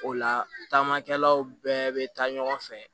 O la taamakɛlaw bɛɛ bɛ taa ɲɔgɔn fɛ